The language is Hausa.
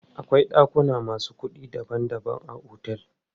Akwai ɗakuna masu kuɗi daban daban a otel.